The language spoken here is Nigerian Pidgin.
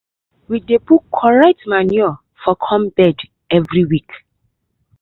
we dey put correct manure for the corn beds every week.